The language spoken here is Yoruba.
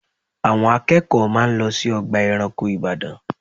Àwọn akẹ́kọ̀ọ́ máa lọ sí ọgbà ẹranko Ìbàdàn